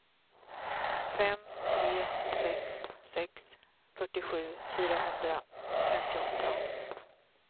fem tre sex sex fyrtiosju fyrahundrafemtioåtta